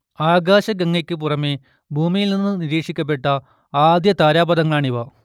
ആകാശഗംഗയ്ക്ക് പുറമെ ഭൂമിയിൽ നിന്ന് നിരീക്ഷിക്കപ്പെട്ട ആദ്യ താരാപഥങ്ങളാണിവ